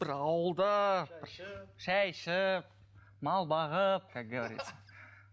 бір ауылда бір шай ішіп мал бағып как говорится